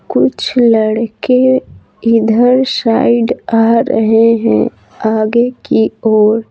कुछ लड़के इधर साइड आ रहे हैं आगे की ओर --